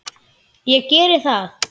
Ég geri það.